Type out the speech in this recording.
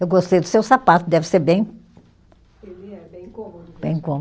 Eu gostei do seu sapato, deve ser bem Ele é bem cômodo mesmo. Bem cômodo,